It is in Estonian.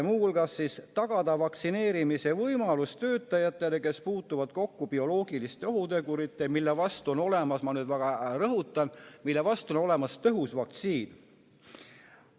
Muu hulgas tuleb tagada vaktsineerimise võimalus töötajatele, kes puutuvad kokku bioloogiliste ohuteguritega, mille vastu on olemas – ma väga seda rõhutan – tõhus vaktsiin.